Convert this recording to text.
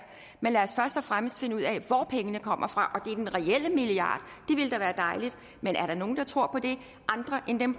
men lad og fremmest finde ud af hvor pengene kommer fra og at den reelle milliard det ville da være dejligt men er der nogen der tror på det andre end dem